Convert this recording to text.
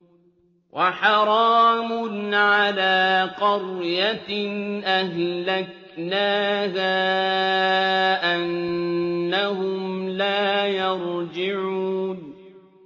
وَحَرَامٌ عَلَىٰ قَرْيَةٍ أَهْلَكْنَاهَا أَنَّهُمْ لَا يَرْجِعُونَ